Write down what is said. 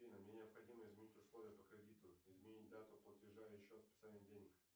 афина мне необходимо изменить условия по кредиту изменить дату платежа и счет списания денег